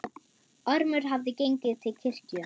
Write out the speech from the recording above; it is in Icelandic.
Ormur hafði gengið til kirkju.